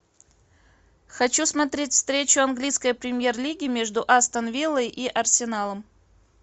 хочу смотреть встречу английской премьер лиги между астон виллой и арсеналом